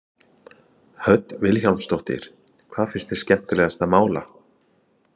Hödd Vilhjálmsdóttir: Hvað finnst þér skemmtilegast að mála?